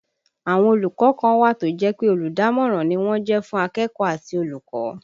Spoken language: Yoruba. Àwọn olùkọ́ kan wà tó jẹ́ pé olùdámọ̀ràn ni wọ́n jẹ́ fún akẹ́kọ̀ọ́ àti olùkọ́